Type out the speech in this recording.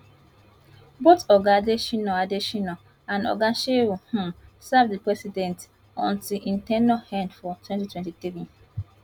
both oga adesina adesina and oga shehu um serve di president until im ten ure end for 2023